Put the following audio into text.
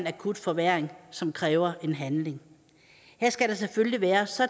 akut forværring som kræver handling her skal der selvfølgelig være